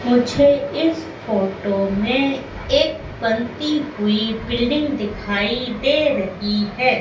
मुझे इस फोटो में एक बनती हुई बिल्डिंग दिखाई दे रही है।